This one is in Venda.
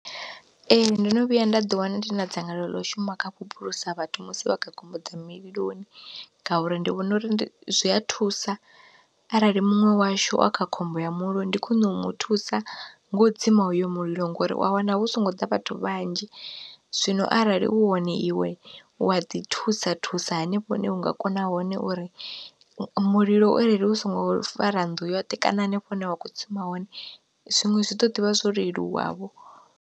Ee ndono vhuya nda ḓi wana ndi na dzangalelo ḽa u shuma kha vhuphulusa vhathu musi vha kha khombo dza muliloni, ngauri ndi vhona uri zwi a thusa arali muṅwe washu a kha khombo ya muliloni ndi khwine u mu thusa ngo tsima hoyo mulilo ngori wa wana hu songo ḓa vhathu vhanzhi, zwino arali hu hone iwe wa ḓi thusa thusa hanefho hune u nga kona hone uri mulilo u arali u songo fara nnḓu yoṱhe kana hanefho hune wa kho tsima hone zwiṅwe zwi ḓo ḓivha zwo leluwa vho.